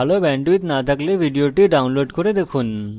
ভাল bandwidth না থাকলে আপনি ভিডিওটি download করে দেখুন